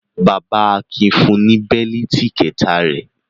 Bàbá Akin fun ní bẹ́lítì kẹ̀ta rẹ̀.